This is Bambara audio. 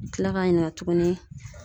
Kila ka ɲininka tukuni